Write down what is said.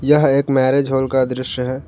यह एक marriage hall का दृश्य है।